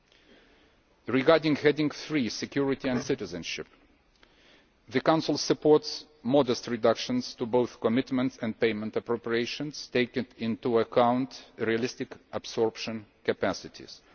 Under Heading 3, Security and Citizenship, the Council supports modest reductions to both commitment and payment appropriations, taking into account realistic absorption capacities.